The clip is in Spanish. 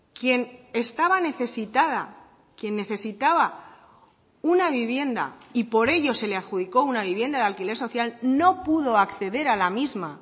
quien estaba necesitada quien necesitaba una vivienda y por ello se le adjudicó una vivienda de alquiler social no pudo acceder a la misma